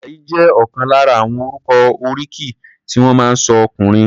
Àjàyí jẹ́ ọ̀kan lára àwọn orúkọ oríkì tí wọ́n máa ń sọ ọkùnrin.